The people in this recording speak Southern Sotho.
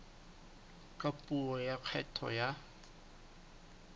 ka puo ya kgetho ya